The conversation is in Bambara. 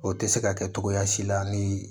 O tɛ se ka kɛ cogoya si la ni